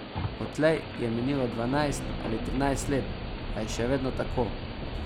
Odtlej je minilo dvanajst ali trinajst let, a je še vedno tako.